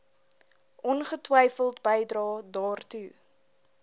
ongetwyfeld bydrae daartoe